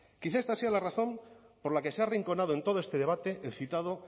quizá esta sea la razón por la que se ha arrinconado en todo este debate el citado